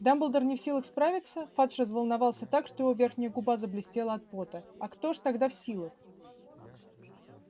дамблдор не в силах справиться фадж разволновался так что его верхняя губа заблестела от пота а кто же тогда в силах